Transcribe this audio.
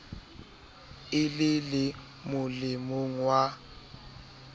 e le le molemong wa